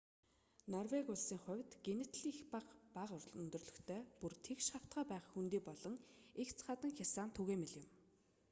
норвеги улсын хувьд гэнэт л их эсвэл бага өндөрлөгтэй бүр тэгш хавтгай байх хөндий болон эгц хадан хясаа нь түгээмэл юм